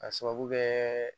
K'a sababu kɛ